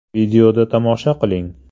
Videoda tomosha qiling.